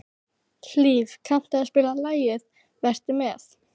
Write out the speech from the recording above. Hlíf, kanntu að spila lagið „Vertu með“?